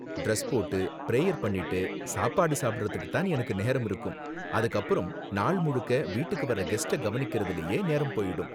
Dress போட்டு, prayer பண்ணிட்டு சாப்பாடு சாப்பிடுறதுக்கு தான் எனக்கு நேரம் இருக்கும், அதுக்கு அப்பறம் நாள் முழுக்க வீட்டுக்கு வர்ற கெஸ்ட்ட கவனிக்குறதிலேயே நேரம் போயிடும்.